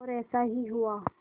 और ऐसा ही हुआ